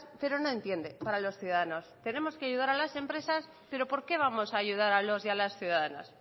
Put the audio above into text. pero no entiende para los ciudadanos tenemos que ayudar a las empresas pero por qué vamos a ayudar a los y a las ciudadanas